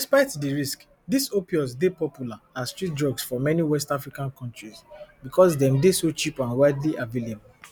despite di risks dis opioids dey popular as street drugs for many west african countries because dem dey so cheap and widely available